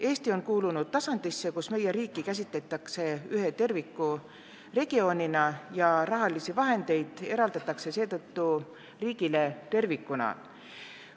Eesti on kuulunud tasandisse, kus riiki käsitatakse ühe tervikliku regioonina ja raha eraldatakse riigile tervikuna.